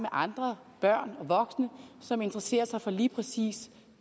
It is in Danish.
andre børn og voksne som interesserer sig for lige præcis